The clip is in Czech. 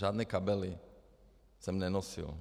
Žádné kabely jsem nenosil.